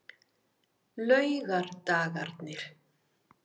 laugardagarnir